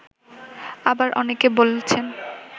আবার অনেকে বলছেন